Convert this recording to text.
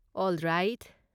All right.